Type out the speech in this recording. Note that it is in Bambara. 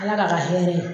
Ala k'a ka hɛrɛ